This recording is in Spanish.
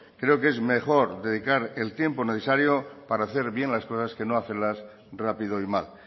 creo que es mejor dedicar el tiempo necesario para hacer bien las cosas que no hacerlas rápido y mal